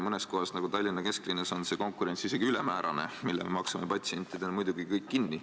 Mõnes kohas, näiteks Tallinna kesklinnas, on konkurents isegi ülemäärane, mille me patsientidena muidugi kinni maksame.